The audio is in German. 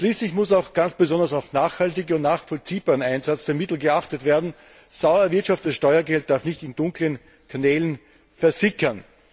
Schließlich muss auch ganz besonders auf nachhaltigen und nachvollziehbaren Einsatz der Mittel geachtet werden. Sauer erwirtschaftetes Steuergeld darf nicht in dunklen Kanälen versickern.